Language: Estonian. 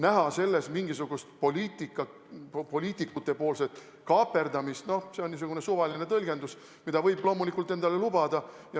Näha selles mingisugust poliitikutepoolset kaaperdamist – noh, see on niisugune suvaline tõlgendus, mida opositsioon võib loomulikult endale lubada.